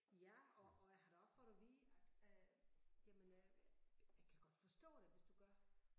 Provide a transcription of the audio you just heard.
Ja og og jeg har da også fået at vide at øh jamen øh jeg kan godt forstå det hvis du gør